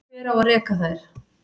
Hver á að reka þær?